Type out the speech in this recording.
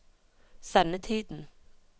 sendetiden